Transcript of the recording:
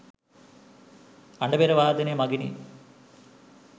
අඬබෙර වාදනය මගිනි.